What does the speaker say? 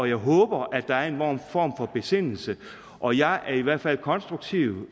jeg håber at der er en form for besindelse og jeg er i hvert fald konstruktiv